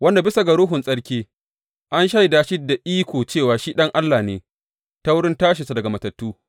Wanda bisa ga Ruhun tsarki, an shaida shi da iko cewa shi Ɗan Allah ne ta wurin tashinsa daga matattu.